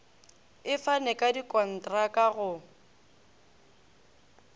e fane ka dikontraka go